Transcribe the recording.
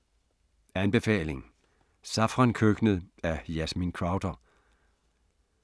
Anbefaling: Safrankøkkenet af Yasmin Crowther